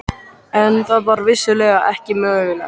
En það var vissulega ekki mögulegt.